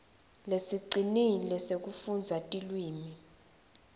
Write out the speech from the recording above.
lesicinile sekufundza tilwimi